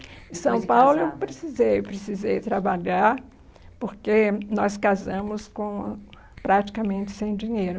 depois de casada. Em São Paulo eu precisei, eu precisei trabalhar, porque nós casamos com praticamente sem dinheiro.